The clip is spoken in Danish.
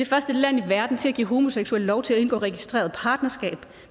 første land i verden til at give homoseksuelle lov til at indgå registreret partnerskab